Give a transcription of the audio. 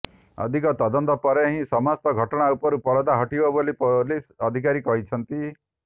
ଅଧିକ ତଦନ୍ତ ପରେ ହିଁ ସମସ୍ତ ଘଟଣା ଉପରୁ ପରଦା ହଟିବ ବୋଲି ପୋଲିସ ଅଧିକାରୀ କହିଛନ୍ତି